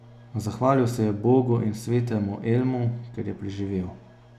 Zahvalil se je Bogu in svetemu Elmu, ker je preživel.